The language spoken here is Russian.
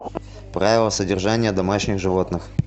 правила содержания домашних животных